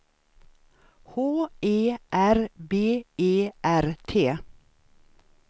H E R B E R T